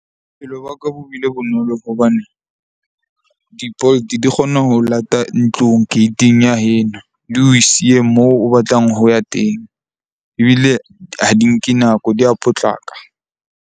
Bophelo ba ka bo bile bonolo hobane di-Bolt di kgona ho lata ntlong gate-ing ya heno. Di o siye moo o batlang ho ya teng. Ebile ha di nke nako di ya potlaka.